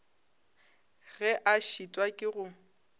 ge a šitwa ke go